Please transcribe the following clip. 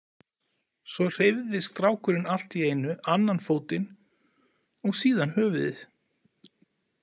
Svo hreyfði strákurinn allt í einu annan fótinn og síðan höfuðið.